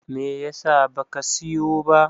me yasa ba ka siyo ba?